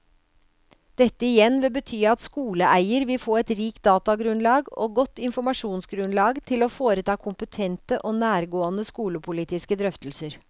Dette igjen vil bety at skoleeier vil få et rikt datagrunnlag og godt informasjonsgrunnlag til å foreta kompetente og nærgående skolepolitiske drøftelser.